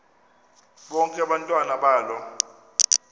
bonke abantwana balo